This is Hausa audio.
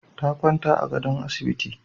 Ta kwanta a gadon asibiti.